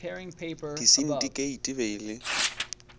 disindikeiti e be e le